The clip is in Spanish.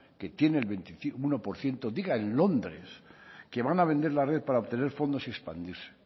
que tiene un uno por ciento diga en londres que van a vender la red para obtener fondos y expandirse